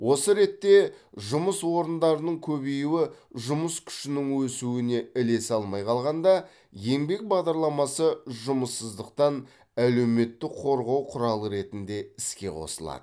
осы ретте жұмыс орындарының көбеюі жұмыс күшінің өсуіне ілесе алмай қалғанда еңбек бағдарламасы жұмыссыздықтан әлеуметтік қорғау құралы ретінде іске қосылады